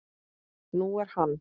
Nú er hann